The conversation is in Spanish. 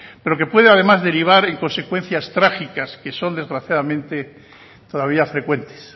pero que puede además derivar en consecuencias trágicas que son desgraciadamente todavía frecuentes